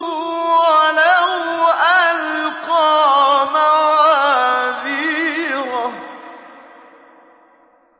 وَلَوْ أَلْقَىٰ مَعَاذِيرَهُ